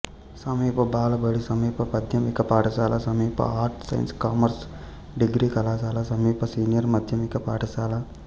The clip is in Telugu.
సమీప బాలబడి సమీప మాధ్యమిక పాఠశాల సమీప ఆర్ట్స్ సైన్స్ కామర్సు డిగ్రీ కళాశాల సమీప సీనియర్ మాధ్యమిక పాఠశాల